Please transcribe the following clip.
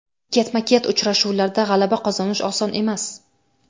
Ketma-ket uchrashuvlarda g‘alaba qozonish oson emas.